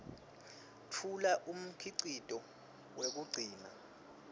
tfula umkhicito wekugcina